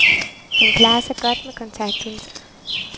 Han klarer sig godt med kontaktlinser.